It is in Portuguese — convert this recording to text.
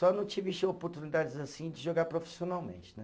Só não tive oportunidades assim de jogar profissionalmente, né.